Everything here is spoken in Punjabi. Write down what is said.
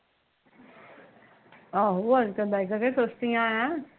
ਆਹੋ ਅੱਜ ਕੱਲ ਬਾਈਕਾ ਕਿਹੜਾ ਸਸਤੀਆ ਆ ਏ